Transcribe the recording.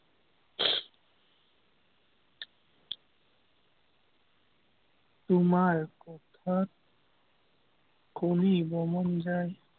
তোমাৰ কথা শুনিবৰ মন যায়।